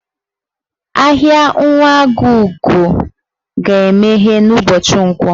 Ahịa Nwagọugo ga-emeghe n'ụbọchị Nkwọ